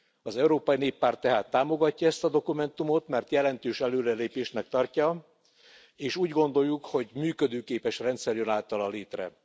Az Európai Néppárt tehát támogatja ezt a dokumentumot, mert jelentős előrelépésnek tartja, és úgy gondoljuk, hogy működőképes rendszer jön általa létre.